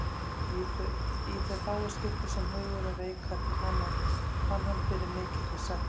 Í þau fáu skipti sem hugurinn reikaði til hennar fann hann fyrir mikilli sektarkennd.